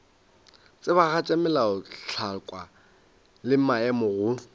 tsebagatša melaotlhakwa le maemo go